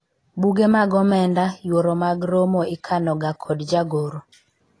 buge mag omenda ,yuoro mag romo ikano ga kod jagoro